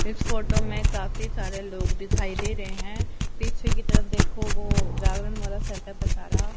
इस फोटो में काफी सारे लोग दिखाई दे रहे हैं पीछे की तरफ देखो वो जागरण वाला सेटअप सारा।